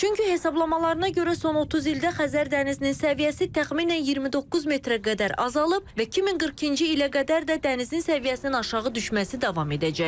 Çünki hesablamalarına görə son 30 ildə Xəzər dənizinin səviyyəsi təxminən 29 metrə qədər azalıb və 2042-ci ilə qədər də dənizin səviyyəsinin aşağı düşməsi davam edəcək.